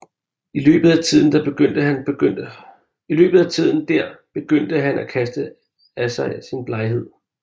I løbet af tiden der begyndte han at kaste af sig sin bleghed